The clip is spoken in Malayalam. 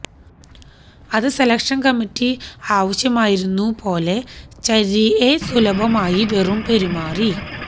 അത് സെലക്ഷൻ കമ്മിറ്റി ആവശ്യമായിരുന്നു പോലെ ചര്രിഎ സുലഭമായി വെറും പെരുമാറി